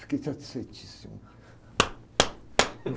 Fiquei satisfeitíssimo.